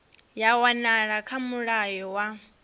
ya wanala kha mulayo wa